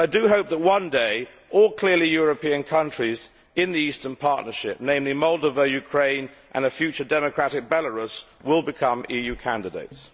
I hope that one day all clearly European countries in the Eastern Partnership, namely Moldova, Ukraine and a future democratic Belarus, will become EU candidates.